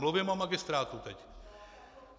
Mluvím o magistrátu teď!